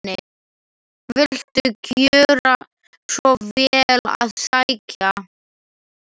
Viltu gjöra svo vel að sækja.